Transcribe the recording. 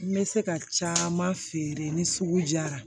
N bɛ se ka caman feere ni sugu jara